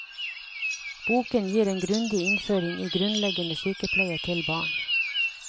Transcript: Boken gir en grundig innføring i grunnleggende sykepleie til barn.